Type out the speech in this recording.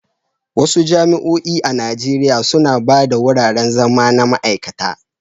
Wasu jami'o'i a Najeriya suna ba da wuraren zama na ma'aikata.